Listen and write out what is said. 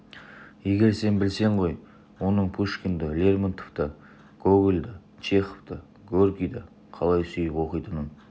егер сен білсең ғой оның пушкинді лермонтовты гогольді чеховты горькийді қалай сүйіп оқитынын